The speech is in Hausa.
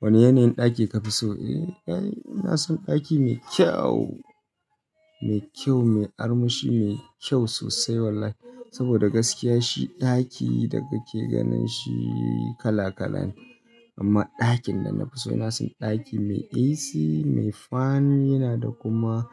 Wane yanayin ɗaki ka fi so? Eh, inason ɗaki mai kyau mai kyau, mai armashi, mai kyau sosai wallahi. Saboda gaskiya shi ɗaki da kake ganin shi kala-kala ne. Amma ɗakin da na fi so, inason ɗaki mai AC, mai fan, yana da kuma